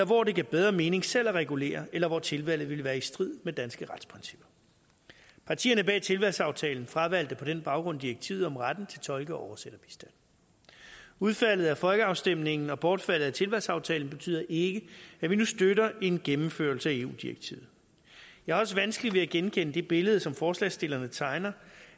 hvor det gav bedre mening selv at regulere eller hvor tilvalget ville være i strid med danske retsprincipper partierne bag tilvalgsaftalen fravalgte på den baggrund direktivet om retten til tolke og oversætterbistand udfaldet af folkeafstemningen og bortfaldet af tilvalgsaftalen betyder ikke at vi nu støtter en gennemførelse af eu direktivet jeg har også vanskeligt ved at genkende det billede som forslagsstillerne tegner